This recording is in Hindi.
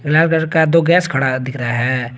लाल कलर का दो गैस खड़ा दिख रहा है।